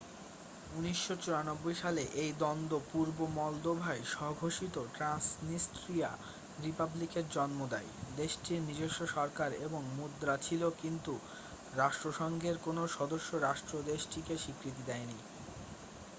১৯৯৪ সালে এই দ্বন্দ্ব পূর্ব মলদোভায় স্ব-ঘোষিত ট্র‍্যান্সনিস্ট্রিয়া রিপাবলিকের জন্ম দেয় দেশটির নিজস্ব সরকার এবং মুদ্রা ছিল কিন্তু রাষ্ট্রসংঘের কোন সদস্য রাষ্ট্র দেশটিকে স্বীকৃতি দেয়নি।